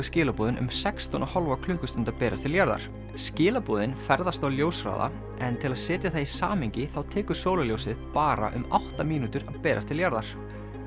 skilaboðin um sextán og hálfa klukkustund að berast til jarðar skilaboðin ferðast á ljóshraða en til að setja það í samhengi þá tekur sólarljósið bara um átta mínútur að berast til jarðar